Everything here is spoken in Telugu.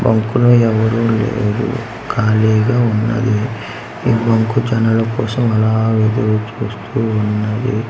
బంకు లో ఎవరు లేరు ఖాళీగా ఉన్నది ఈ బంకు జనాల కోసం అలా ఎదురుచూస్తూ ఉన్నది.